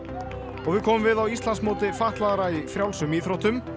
og við komum við á Íslandsmóti fatlaðra í frjálsum íþróttum